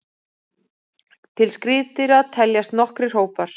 Til skriðdýra teljast nokkrir hópar.